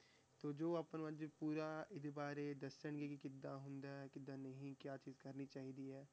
ਤੇ ਜੋ ਆਪਾਂ ਨੂੰ ਅੱਜ ਪੂਰਾ ਇਹਦੇ ਬਾਰੇ ਦੱਸਣਗੇ ਕਿ ਕਿੱਦਾਂ ਹੁੰਦਾ ਹੈ, ਕਿੱਦਾਂ ਨਹੀਂ, ਕਿਆ ਚੀਜ਼ ਕਰਨੀ ਚਾਹੀਦੀ ਹੈ,